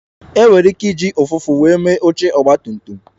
E nwere ike iji ụfụfụ were mee oche Ọgba tum tum